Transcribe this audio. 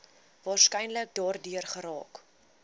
waarskynlik daardeur geraak